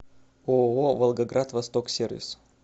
ооо волгоград восток сервис